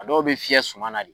A dɔw bɛ fɲɛi sumana de.